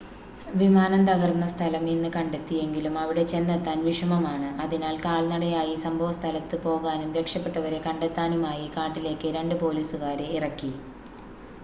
വിമാനം തകർന്ന സ്ഥലം ഇന്ന് കണ്ടെത്തി എങ്കിലും അവിടെ ചെന്നെത്താൻ വിഷമമാണ് അതിനാൽ കാൽനടയായി സംഭവസ്ഥലത്ത് പോകാനും രക്ഷപ്പെട്ടവരെ കണ്ടെത്താനുമായി കാട്ടിലേക്ക് രണ്ട് പോലീസുകാരെ ഇറക്കി